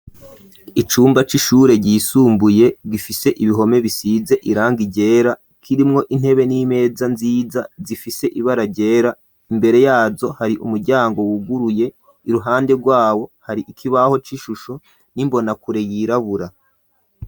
Icumba c'ishure ryisumbuye gifise ibihome bisize iranga ryera, kirimwo intebe n'imeza nziza zifise ibara ryera, imbere yazo hari umuryango wuguruye, iruhande rwawo hari ikibaho c'ishusho n'imbonakure yirabura.